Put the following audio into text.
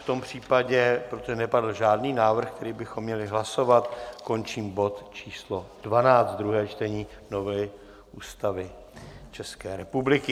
V tom případě, protože nepadl žádný návrh, který bychom měli hlasovat, končím bod číslo 12, druhé čtení novely Ústavy České republiky.